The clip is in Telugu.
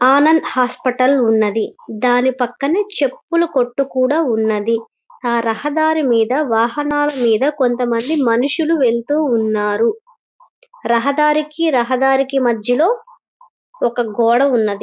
ఆనంద్ హాస్పెటల్ ఉన్నదీ దాని పక్కనే చెప్పుల కొట్టు కూడా ఉన్నదీ ఆ రహదారి మీద వాహనాల మీద కొంతమంది మనుసులు వెళ్తూ ఉన్నారు రహ దారికి రహదారికి మధ్యలో ఒక గోడ ఉన్నదీ.